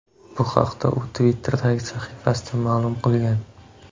Bu haqda u Twitter’dagi sahifasida ma’lum qilgan.